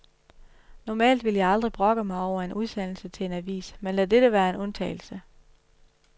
Normalt ville jeg aldrig brokke mig over en udsendelse til en avis, men lad dette være en undtagelse.